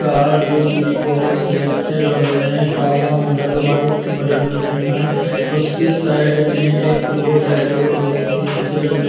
Car जो की बहुत ही अच्छे लग रहें हैं काला मॉडल वाइट मॉडल में हैं उसके साइड में एक रोड है रोड बहुत ही अच्छे लग रहें हैं।